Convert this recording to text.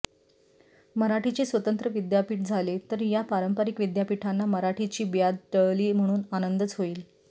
मराठीचे स्वतंत्र विद्यापीठ झाले तर या पारंपरिक विद्यापीठांना मराठीची ब्याद टळली म्हणून आनंदच होईल